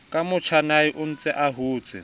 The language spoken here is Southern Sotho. ka motjhanae ontse a hotse